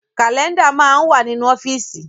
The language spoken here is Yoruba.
Kálẹ́ndà máa ń wà nínú ọ́fíìsì